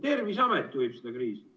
Terviseamet juhib seda kriisi.